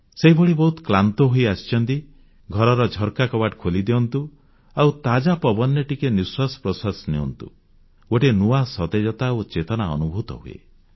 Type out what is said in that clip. ସେହିଭଳି ବହୁତ କ୍ଳାନ୍ତ ହୋଇଆସିଛନ୍ତି ଘରର ଝରକା କବାଟ ଖୋଲିଦିଅନ୍ତୁ ଆଉ ତାଜା ପବନରେ ଟିକେ ନିଶ୍ୱାସ ପ୍ରଶ୍ୱାସ ନିଅନ୍ତୁ ଗୋଟିଏ ନୂଆ ସତେଜତା ଓ ଚେତନା ଅନୁଭୂତ ହୁଏ